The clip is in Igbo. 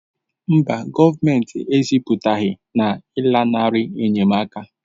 Mba, gọọmentị ezipụghị na ịlanarị enyemaka